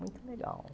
Muito legal.